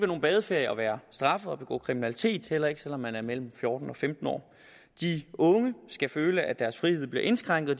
nogen badeferie at være straffet og begå kriminalitet heller ikke selv om man er mellem fjorten og femten år de unge skal føle at deres frihed bliver indskrænket